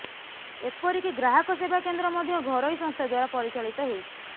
ଏପରିକି ଗ୍ରାହକସେବା କେନ୍ଦ୍ର ମଧ୍ୟ ଘରୋଇ ସଂସ୍ଥା ଦ୍ୱାରା ପରିଚାଳିତ ହେଉଛି